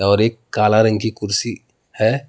और एक काला रंग की कुर्सी है।